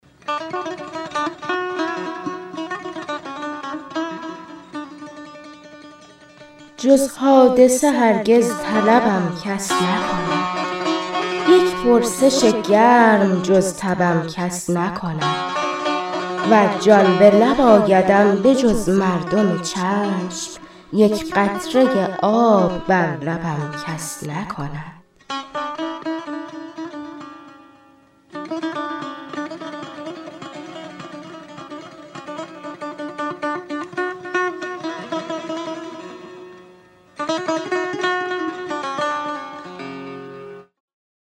جز حادثه هرگز طلبم کس نکند یک پرسش گرم جز تبم کس نکند ور جان به لب آیدم به جز مردم چشم یک قطره آب بر لبم کس نکند